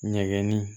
Ɲɛgɛnni